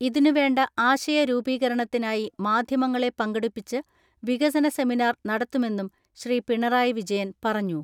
ഇതിനുവേണ്ട ആശയ രൂപീകരണത്തിനായി മാധ്യമങ്ങളെ പങ്കെടുപ്പിച്ച് വികസന സെമിനാർ നടത്തുമെന്നും ശ്രീ പിണറായി വിജയൻ പറഞ്ഞു.